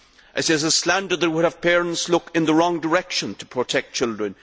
It is a slander that would have parents look in the wrong direction to protect their children.